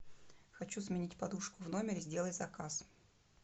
хочу сменить подушку в номере сделай заказ